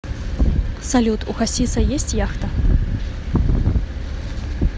салют у хасиса есть яхта